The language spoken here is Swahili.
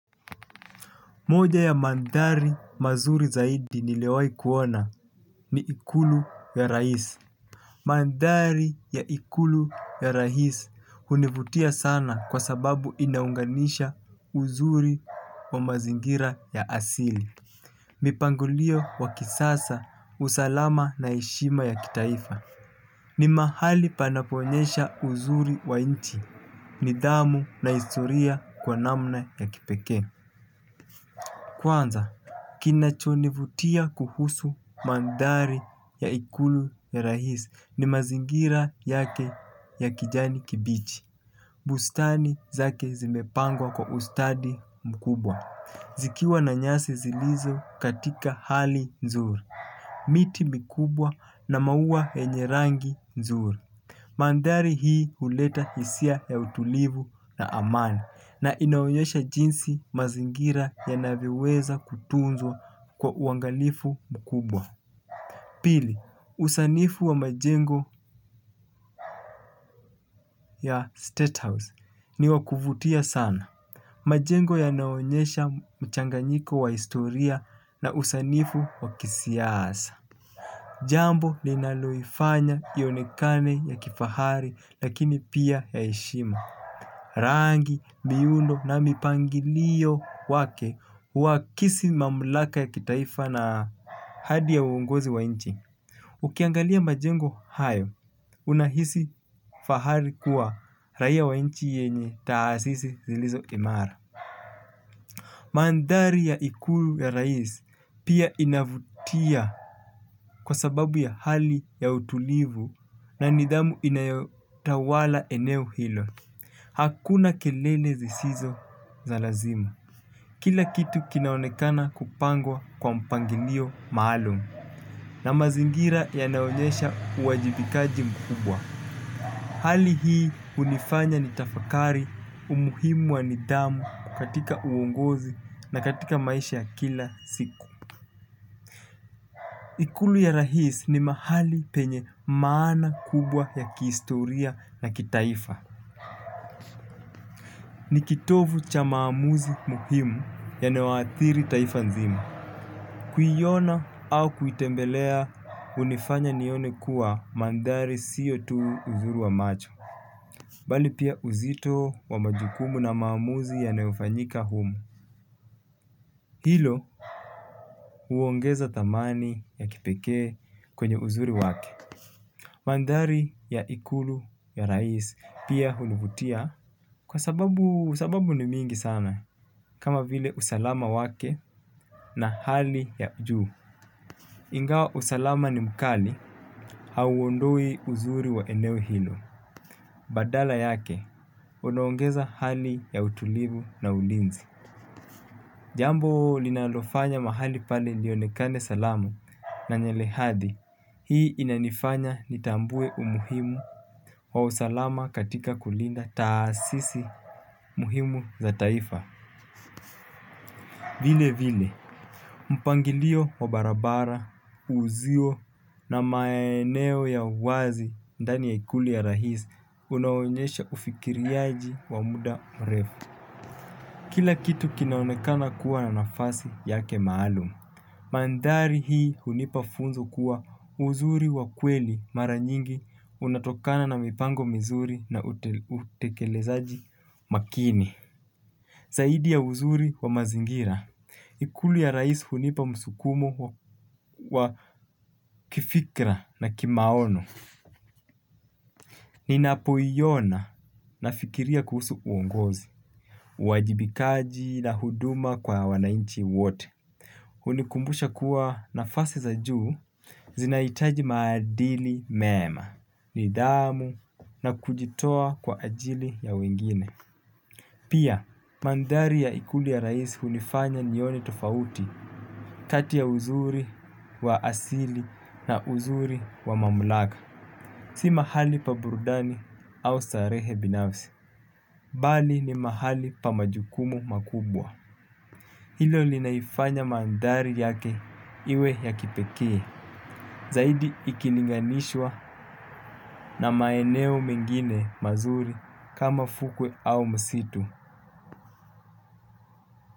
Moja ya manthari mazuri zaidi niliyowai kuona ni ikulu ya rais. Manthari ya ikulu ya rais hunivutia sana kwa sababu inaunganisha uzuri wa mazingira ya asili. Mipangilio wakisasa usalama na heshima ya kitaifa. Ni mahali panapo onyesha uzuri wa nchi nidhamu na historia kwa namna ya kipekee. Kwanza kinacho nivutia kuhusu manthari ya ikulu ya rais ni mazingira yake ya kijani kibichi. Bustani zake zimepangwa kwa ustadi mkubwa zikiwa na nyasi zilizo katika hali nzuri miti mikubwa na mauwa yenye rangi nzuri manthari hii huleta hisia ya utulivu na amani. Na inaonyesha jinsi mazingira yanavyoweza kutunzwa kwa uangalifu mkubwa. Pili, usanifu wa majengo ya Statehouse ni wakuvutia sana. Majengo yanaonyesha mchanganyiko wa historia na usanifu wa kisiasa. Jambo ninaloifanya ionekane ya kifahari lakini pia ya heshima. Rangi, miundo na mipangilio wake wakisimamlaka ya kitaifa na hadi ya uongozi wa inchi ukiangalia majengo hayo unahisi fahari kuwa raia wa inchi yenye taasisi zilizo kinara. Manthari ya ikulu ya rais pia inavutia. Kwa sababu ya hali ya utulivu na nidhamu inayo tawala eneo hilo. Hakuna kelele zisizo za lazima. Kila kitu kinaonekana kupangwa kwa mpangilio maalum. Na mazingira yanaonyesha uwajibikaji mkubwa. Hali hii hunifanya ni tafakari umuhimu wa nidhamu katika uongozi na katika maisha ya kila siku. Ikulu ya rais ni mahali penye maana kubwa ya kihistoria na kitaifa. Ni kitovu cha maamuzi muhimu yanayo athiri taifa nzima. Kuiona au kuitembelea hunifanya nione kuwa manthari siyo tu uzuri wa macho. Bali pia uzito wa majukumu na maamuzi yanayofanyika humu. Hilo huongeza thamani ya kipekee kwenye uzuri wake. Manthari ya ikulu ya rais pia hunivutia kwa sababu sababu ni mingi sana. Kama vile usalama wake na hali ya juu. Ingawa usalama ni mkali hauondoi uzuri wa eneo hilo. Badala yake unaongeza hali ya utulivu na ulinzi. Jambo linalofanya mahali pale lionekane salama na lenye hadhi hii inanifanya nitambue umuhimu wa usalama katika kulinda taasisi muhimu za taifa. Vile vile, mpangilio wa barabara, usiyo na maeneo ya wazi ndani ya ikulu ya rais, unaonyesha ufikiriaji wa muda mrefu. Kila kitu kinaonekana kuwa na nafasi yake maalum. Manthari hii hunipa funzo kuwa uzuri wa kweli mara nyingi unatokana na mipango mizuri na utekelezaji makini. Zaidi ya uzuri wa mazingira, ikulu ya rais hunipa msukumo wa kifikra na kimaono, ninapoiona nafikiria kuhusu uongozi, uwajibikaji na huduma kwa wanainchi wote, hunikumbusha kuwa nafasi za juu zinahitaji maadili mema, nidhamu na kujitoa kwa ajili ya wengine. Pia, manthari ya ikulu ya rais hunifanya nione tofauti kati ya uzuri wa asili na uzuri wa mamlaka. Si mahali pa burudani au starehe binafsi, bali ni mahali pa majukumu makubwa. Hilo linaifanya manthari yake iwe ya kipekee, zaidi ikilinganishwa na maeneo mengine mazuri kama fukwe au msitu.